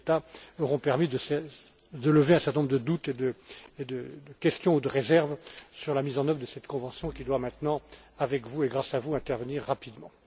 Šemeta auront permis de lever un certain nombre de doutes et de questions ou de réserves sur la mise en œuvre de cette convention qui doit maintenant, avec vous et grâce à vous, intervenir rapidement.